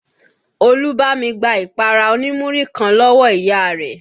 Olú bámi gbá ìpara oní Múrí kan lọ́wọ́ ìyá rẹ̀